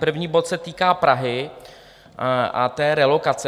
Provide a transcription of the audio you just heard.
První bod se týká Prahy a té relokace.